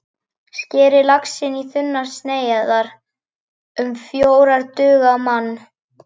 Skerið laxinn í þunnar sneiðar, um fjórar duga á mann.